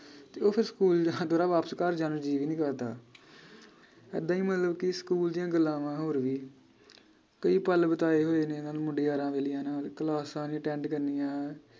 ਤੇ ਉਹ ਫੇਰ ਸਕੂਲ ਜਾਨ ਤੋਂ ਨਾ ਵਾਪਿਸ ਘਰ ਜਾਨ ਨੂੰ ਜੀ ਵੀ ਨੀ ਕਰਦਾ ਏਦਾਂ ਈ ਮਤਲਬ ਕਿ ਸਕੂਲ ਦੀਆਂ ਗੱਲਾਂ ਵਾ ਹੋਰ ਵੀ। ਕਈ ਪਲ ਬਿਤਾਏ ਹੋਏ ਨੇ ਇਹਨਾਂ ਮੁੰਡੇ ਯਾਰਾਂ ਬੇਲੀਆਂ ਨਾਲ ਕਲਾਸਾਂ ਨੀ attend ਕਰਨੀਆਂ